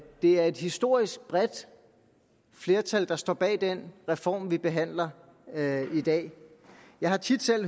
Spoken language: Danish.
det er et historisk bredt flertal der står bag den reform vi behandler i dag jeg har tit selv